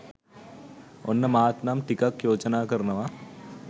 ඔන්න මාත් නම් ටිකක් යෝජනා කරනවා.